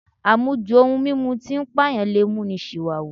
Àmujù ohun mímu tí ń pàyàn lè mú ni ṣìwàhù